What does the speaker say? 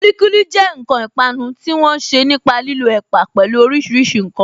Kulikuli jẹ́ ǹkan ìpanu tí wọ́n ṣe nípa lílo ẹ̀pà, pẹlu orísìírísìí ǹkan